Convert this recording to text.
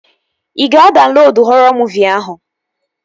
Ị ga-adaunlodu họrọ muuvi ahụ?